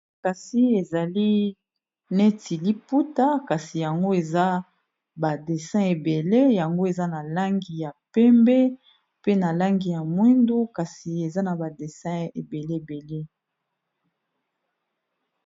Kasi ezali neti liputa kasi yango eza ba desin ebele yango eza na langi ya pembe, na langi ya mwindu kasi eza na ba dessin ebele.